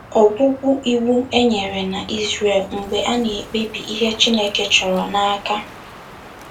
Ọgwụgwụ Iwu Enyere Na Izrel Mgbe A Na-ekpebi Ihe Chineke Chọrọ n'aka